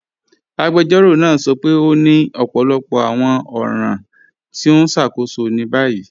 Agbẹjọ́rọ̀ naa sọ pé o ni ọpọlọpọ awọn ọ̀ran ti o n ṣákóṣọ ni bayí.